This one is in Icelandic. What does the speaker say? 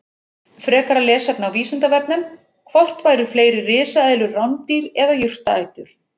Frekara lesefni á Vísindavefnum: Hvort voru fleiri risaeðlur rándýr eða jurtaætur?